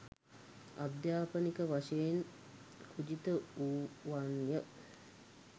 අධ්‍යාපනික වශයෙන් කුජිත වුවන්ය